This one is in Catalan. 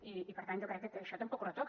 i per tant jo crec que això tampoc ho retoca